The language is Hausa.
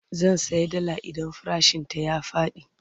zan saya dalla idan farashin ta ya Faɗi